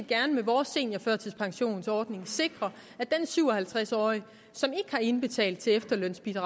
gerne med vores seniorførtidspensionsordning sikre at den syv og halvtreds årige som ikke har indbetalt til efterlønsordningen